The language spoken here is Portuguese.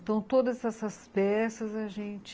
Então, todas essas peças, a gente...